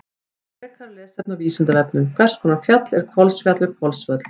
Frekara lesefni á Vísindavefnum: Hvers konar fjall er Hvolsfjall við Hvolsvöll?